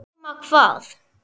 Nema hvað?